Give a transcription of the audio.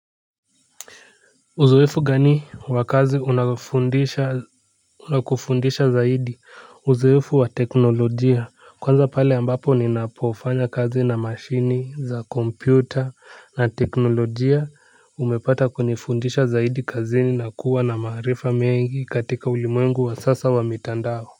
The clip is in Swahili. Uzoefu gani wa kazi unakufundisha zaidi? Uzoefu wa teknolojia, kwanza pale ambapo ninapofanya kazi na mashine za kompyuta na teknolojia umepata kunifundisha zaidi kazini na kuwa na maarifa mengi katika ulimwengu wa sasa wa mitandao.